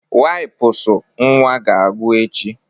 Wipụsụ nwa ga-agwụ echi.